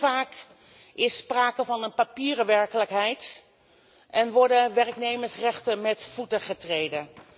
Te vaak is sprake van een papieren werkelijkheid en worden werknemersrechten met voeten getreden.